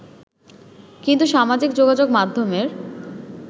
কিন্তু সামাজিক যোগাযোগ মাধ্যমের